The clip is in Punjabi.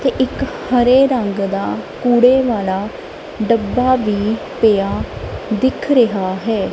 ਤੇ ਇੱਕ ਹਰੇ ਰੰਗ ਦਾ ਕੂੜੇ ਵਾਲਾ ਡੱਬਾ ਵੀ ਪਿਆ ਦਿੱਖ ਰਿਹਾ ਹੈ।